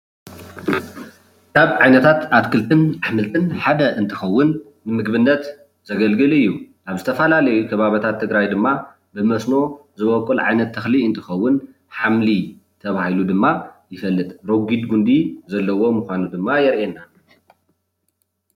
ካብ ዓይነታት ኣትክልትን ኣሕምልትን ሓደ እንትከውን ንምግብነት ዘገልግል እዩ፡፡ ኣብ ዝተፈላለዩ ከባቢታት ትግራይ ድማ ብመስኖ ዝወቅል ዓይነት ተክሊ እንትከውን ሓምሊ ተባሂሉ ድማ ይፍለጥ፡፡ ረጉድ ጉንዲ ዘለዎ ከም ዝኮነ ድማ የርእየና፡፡